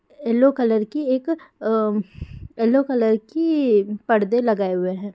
Yellow colour की एक अ येलो कलर की पर्दे लगाए हुए है।